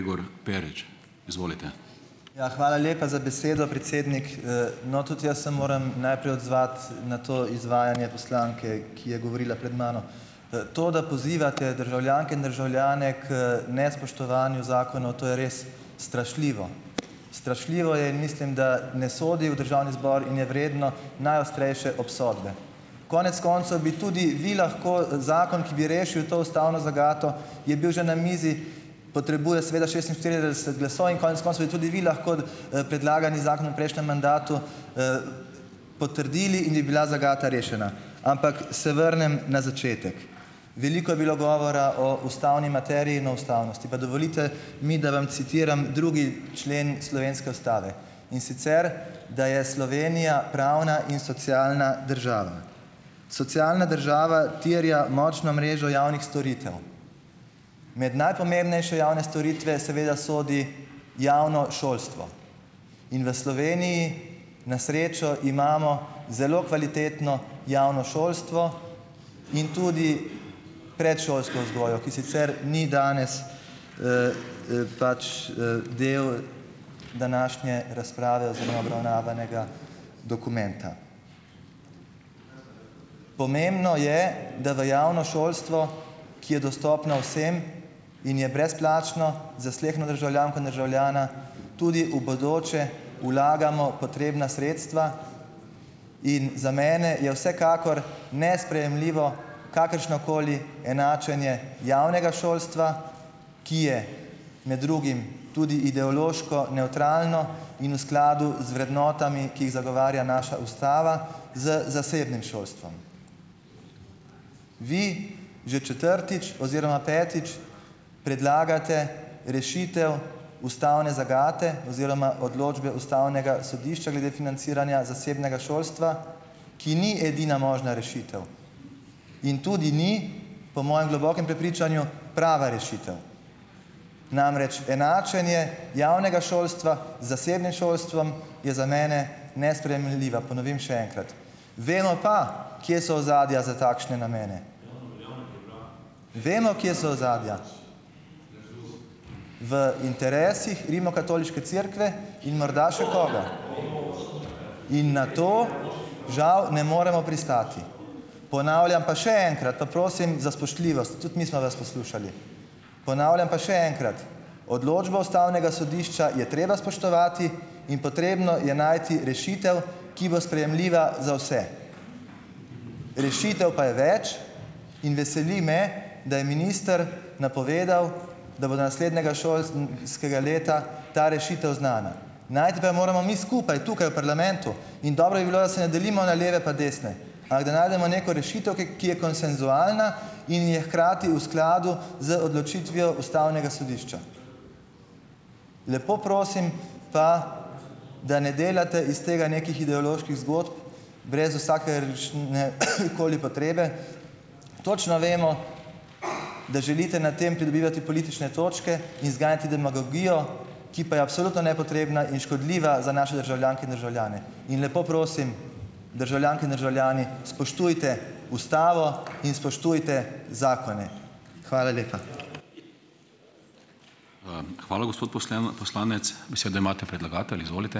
Ja, hvala lepa za besedo, predsednik. No, tudi jaz se moram najprej odzvati, na to izvajanje poslanke, ki je govorila pred mano. To, da pozivate državljanke in državljane k nespoštovanju zakonov, to je res strašljivo. Strašljivo je, mislim, da ne sodi v državni zbor in je vredno najostrejše obsodbe. Konec koncev bi tudi vi lahko, zakon, ki bi rešil to ustavno zagato, je bil že na mizi, potrebuje seveda šestinštirideset glasov in konec koncev bi tudi vi lahko, predlagani zakon v prejšnjem mandatu, potrdili in bi bila zagata rešena. Ampak se vrnem na začetek. Veliko je bilo govora o ustavni materiji in o ustavnosti. Pa dovolite mi, da vam citiram drugi člen slovenske ustave, in sicer: "Da je Slovenija pravna in socialna država." Socialna država terja močno mrežo javnih storitev. Med najpomembnejše javne storitve seveda sodi javno šolstvo. In v Sloveniji na srečo imamo zelo kvalitetno javno šolstvo in tudi predšolsko vzgojo, ki sicer ni danes, pač, del današnje razprave oziroma obravnavanega dokumenta. Pomembno je, da v javno šolstvo, ki je dostopno vsem in je brezplačno za sleherno državljanko in državljana, tudi v bodoče vlagamo potrebna sredstva. In za mene je vsekakor nesprejemljivo kakršnokoli enačenje javnega šolstva, ki je med drugim tudi ideološko nevtralno in v skladu z vrednotami, ki jih zagovarja naša ustava z zasebnim šolstvom. Vi že četrtič oziroma petič predlagate rešitev ustavne zagate oziroma odločbe ustavnega sodišča glede financiranja zasebnega šolstva, ki ni edina možna rešitev. In tudi ni, po mojem globokem prepričanju, prava rešitev. Namreč, enačenje javnega šolstva z zasebnim šolstvom je za mene nesprejemljivo, ponovim še enkrat. Vemo pa, kje so ozadja za takšne namene. Vemo, kje so ozadja. V interesih rimokatoliške cerkve in morda še koga. In na to, žal, ne moremo pristati. Ponavljam pa še enkrat, pa prosim za spoštljivost, tudi mi smo vas poslušali, ponavljam pa še enkrat, odločbo ustavnega sodišča je treba spoštovati in potrebno je najti rešitev, ki bo sprejemljiva za vse. Rešitev pa je več in veseli me, da je minister napovedal, da bo do naslednjega šol, skega leta ta rešitev znana. Najti pa jo moramo mi skupaj, tukaj v parlamentu. In dobro bi bilo, da se ne delimo na leve pa desne ali da najdemo neko rešitev, ki, ki je konsenzualna in je hkrati v skladu z odločitvijo ustavnega sodišča. Lepo prosim pa, da ne delate iz tega nekih ideoloških zgodb brez vsake ne, koli potrebe. Točno vemo, da želite na tem pridobivati politične točke in zganjati demagogijo, ki pa je absolutno nepotrebna in škodljiva za naše državljanke in državljane. In lepo prosim, državljanke in državljani, spoštujete ustavo in spoštujete zakone. Hvala lepa.